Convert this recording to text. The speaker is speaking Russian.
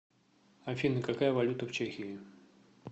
афина какая валюта в чехии